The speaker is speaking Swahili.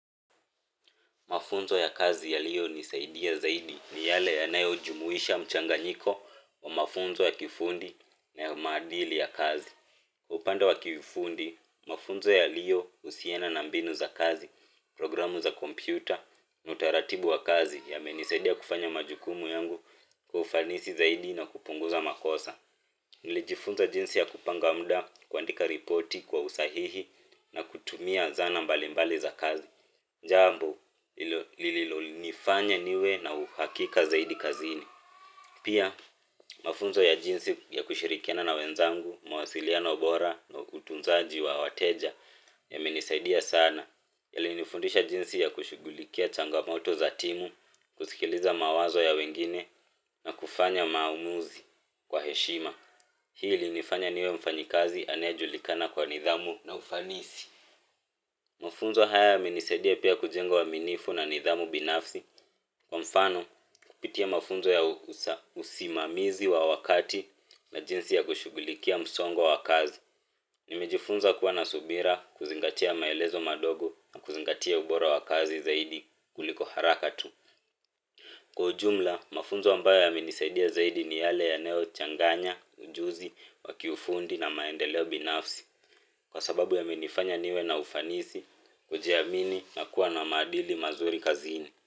Mafunzo ya kazi yaliyo nisaidia zaidi ni yale yanayo jumuisha mchanganyiko wa mafunzo ya kifundi na ya maadili ya kazi. Upande wa kiufundi, mafunzo yaliyo husiana na mbinu za kazi, programu za kompyuta, na utaratibu wa kazi yamenisaidia kufanya majukumu yangu kwa ufanisi zaidi na kupunguza makosa. Nilijifunza jinsi ya kupanga muda kuandika ripoti kwa usahihi na kutumia zana mbali mbali za kazi. Jambo lililonifanya niwe na uhakika zaidi kazini pia mafunzo ya jinsi ya kushirikiana na wenzangu, mawasiliano bora na utunzaji wa wateja yamenisaidia sana. Yalinifundisha jinsi ya kushughulikia changamoto za timu, kusikiliza mawazo ya wengine na kufanya maamuzi kwa heshima hii ilinifanya niwe mfanyikazi anayejulikana kwa nidhamu na ufanisi mafunzo haya yamenisaidia pia kujenga uaminifu na nidhamu binafsi kwa mfano kupitia mafunzo ya usimamizi wa wakati na jinsi ya kushughulikia msongo wa kazi nimejifunza kuwa na subira, kuzingatia maelezo madogo na kuzingatia ubora wa kazi zaidi kuliko haraka tu kwa ujumla, mafunzo ambayo yamenisaidia zaidi ni yale yanayo changanya, ujuzi, wa kiufundi na maendeleo binafsi kwa sababu yamenifanya niwe na ufanisi kujiamini na kuwa na maadili mazuri kazini.